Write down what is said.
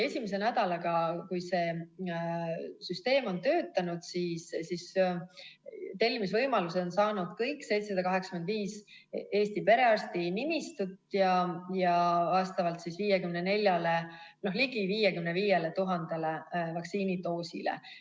Esimese nädalaga, kui see süsteem on töötanud, on tellimisvõimaluse saanud kõik 785 Eesti perearstinimistut ja vastavalt siis ligi 55 000 vaktsiinidoosile.